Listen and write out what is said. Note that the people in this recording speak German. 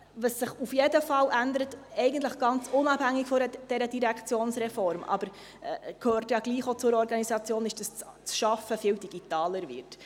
Was sich auf jeden Fall ändert, eigentlich ganz unabhängig von dieser Direktionsreform – aber es gehört ja trotzdem auch zur Organisation –, ist, dass das Arbeiten viel digitaler wird.